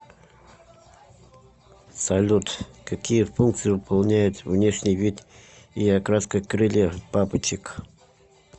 салют какие функции выполняют внешний вид и окраска крыльев бабочек